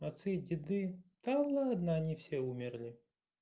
отцы и деды да ладно они все умерли